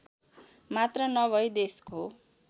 मात्र नभई देशको